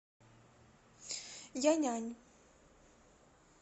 яньань